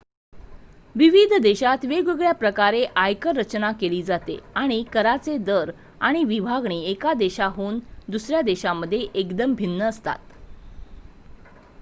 विविध देशात वेगवेगळ्या प्रकारे आयकर रचना केली जाते आणि कराचे दर आणि विभागणी एका देशाहून दुसऱ्या देशामध्ये एकदम भिन्न असतात